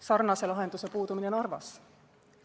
Sarnase lahenduse puudumine Narvas.